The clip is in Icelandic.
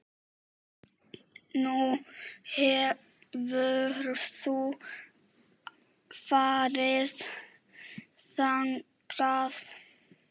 Nú, hefurðu farið þangað?